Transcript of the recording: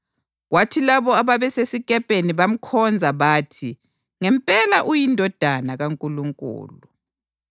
Kwathi labo ababesesikepeni bamkhonza bathi, “Ngempela uyiNdodana kaNkulunkulu.”